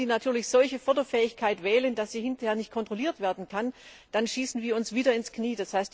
Aber wenn diese natürlich eine Förderfähigkeit wählen, die hinterher nicht kontrolliert werden kann, dann schießen wir uns wieder ins Knie.